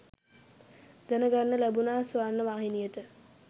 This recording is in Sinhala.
දැන ගන්න ලැබුණා ස්වර්ණවාහිනියට